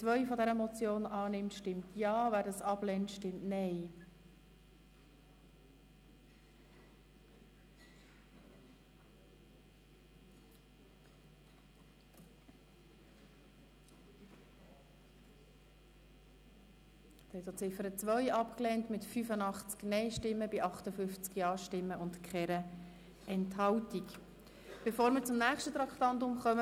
Bevor wir zum nächsten Traktandum kommen, möchte ich gerne eine Gruppe auf der Tribüne begrüssen, und zwar sind es Mitglieder des Vereins für Altersfragen Nidau-Port.